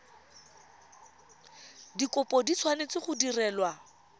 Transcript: dikopo di tshwanetse go direlwa